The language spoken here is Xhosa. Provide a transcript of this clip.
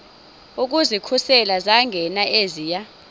ukuzikhusela zangena eziya